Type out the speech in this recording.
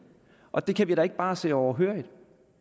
og det kan vi da ikke bare sidde overhørig